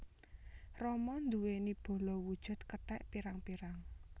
Rama nduwèni bala wujud kethèk pirang pirang